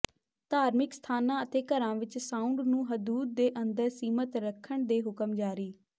ਧਾਰਮਿਕ ਸਥਾਨਾਂ ਅਤੇ ਘਰਾਂ ਵਿੱਚ ਸਾਊਂਡ ਨੂੰ ਹਦੂਦ ਦੇ ਅੰਦਰ ਸੀਮਤ ਰੱਖਣ ਦੇ ਹੁਕਮ ਜਾਰੀ